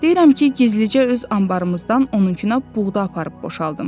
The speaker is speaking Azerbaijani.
Deyirəm ki, gizlicə öz anbarımızdan onunku buğda aparıb boşaldım.